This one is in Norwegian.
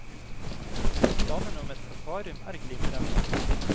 Planene om et akvarium er glimrende.